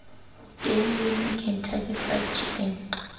teng wimpy kentucky fried chicken